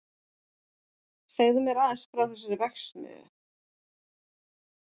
Segðu mér aðeins frá þessari verksmiðju.